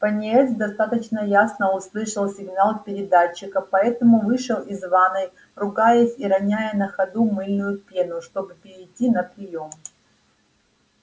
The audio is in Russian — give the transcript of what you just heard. пониетс достаточно ясно услышал сигнал передатчика поэтому вышел из ванной ругаясь и роняя на ходу мыльную пену чтобы перейти на приём